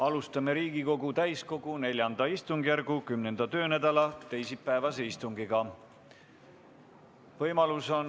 Alustame Riigikogu täiskogu IV istungjärgu 10. töönädala teisipäevast istungit.